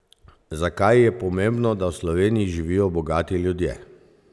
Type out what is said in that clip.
Zakaj je pomembno, da v Sloveniji živijo bogati ljudje?